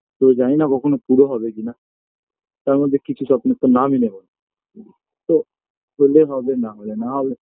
তো জানিনা কখনো পুরো হবে কিনা তার মধ্যে কিছু স্বপ্নের তো নামই নেবোনা তো হলে হবে না হলে না হবে